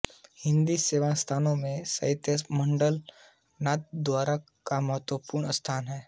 हिन्दी सेवी संस्थाओं में साहित्य मंडल नाथद्वारा का महत्वपूर्ण स्थान है